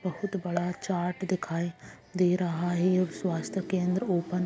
बहुत बड़ा चार्ट दिखाई दे रहा है और स्वास्थ्य केंद्र ओपन --